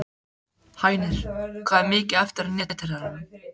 Hænir, hvað er mikið eftir af niðurteljaranum?